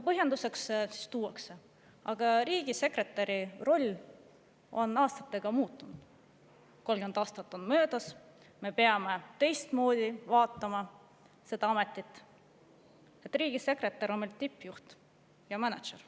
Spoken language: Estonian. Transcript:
Põhjenduseks tuuakse, et riigisekretäri roll on aastatega muutunud: 30 aastat on möödas ja me peame seda ametit teistmoodi vaatama, riigisekretär on meil tippjuht ja mänedžer.